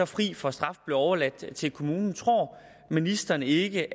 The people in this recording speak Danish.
fri for straf og blev overladt til kommunen tror ministeren ikke